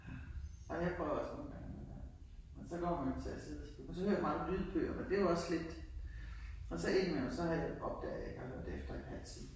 Ja, ej men jeg prøver også nogle gange at lade være men så kommer man jo til at sidde og så hører jeg mange lydbøger og det jo også sådan lidt og så ind i mellem så har jeg så opdager jeg at jeg ikke har hørt efter i en halv time